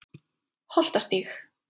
Holtastíg